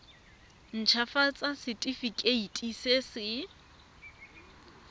nt hafatsa setefikeiti se se